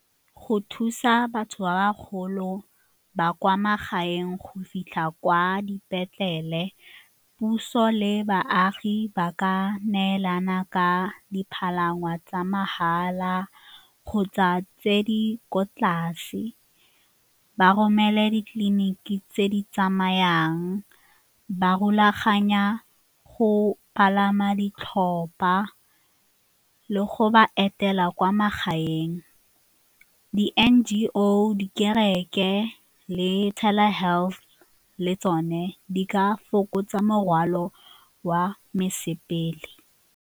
Go thusa batho ba ba golo ba kwa magaeng go fitlha kwa dipetlele, puso le baagi ba ka neelana ka dipalangwa tsa mahala kgotsa tse di ko tlase, ba romele ditleliniki tse di tsamayang ba rulaganya go palama ditlhopha le go ba etela kwa magaeng di-N_G_O, dikereke le Telehealth le tsone di ka fokotsa morwalo wa mosepele.